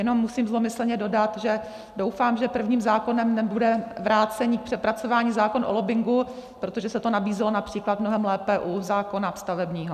Jenom musím zlomyslně dodat, že doufám, že prvním zákonem nebude vrácení k přepracování zákona o lobbingu, protože se to nabízelo například mnohem lépe u zákona stavebního.